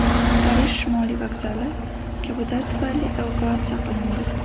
Parij Shimoliy vokzali kabutar tufayli evakuatsiya qilindi.